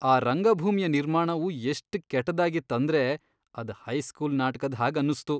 ಆ ರಂಗಭೂಮಿಯ ನಿರ್ಮಾಣವು ಎಷ್ಟ್ ಕೆಟ್ಟದಾಗಿತ್ ಅಂದ್ರೆ ಅದ್ ಹೈಸ್ಕೂಲ್ ನಾಟ್ಕದ್ ಹಾಗ್ ಅನ್ನುಸ್ತು.